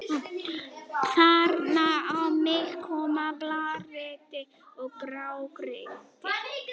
Þarna á milli koma blágrýti og grágrýti.